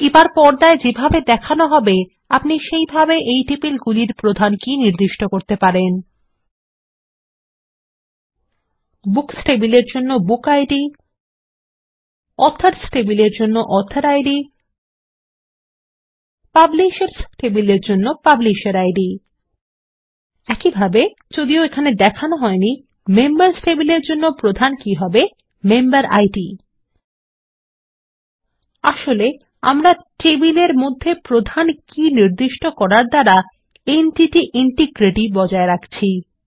এবার পর্দায় ছবিতে যেমন দেখানো হবে আপনি সেভাবে টেবিলের জন্য প্রধান কী নির্দিষ্ট করতে পারেন বুকস টেবিলের জন্য বুকিড অথর্স টেবিলের জন্য অথরিড পাবলিশার্স টেবিলের জন্য পাবলিশার্সিড একইভাবে যদিও এখানে দেখানো হয়নি মেম্বার্স টেবিলের জন্য প্রধান কী হবে মেম্বেরিড আসলে আমরা টেবিলের মধ্যে প্রধান কী নির্দিষ্ট করার দ্বারা এন্টিটি ইন্টিগ্রিটি বজায় রাখছি